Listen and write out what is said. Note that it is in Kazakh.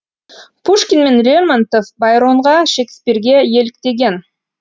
пушкин мен лермонтов байронға шекспирге еліктеген